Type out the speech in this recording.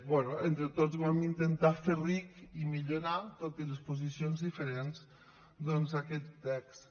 bé entre tots vam intentar fer ric i millorar tot i les posicions diferents aquest text